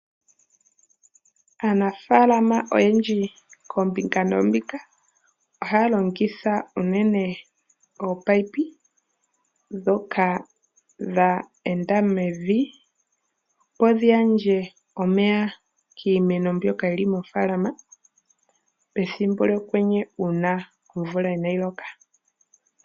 Aanafaalama oyendji koombinga noombinga ohaya longitha unene ominino dhoka dha enda mevi, opo dhi gandje omeya kiimeno mbyoka yili mofaalama pethimbo lyokwenye uuna omvula inaayi loka.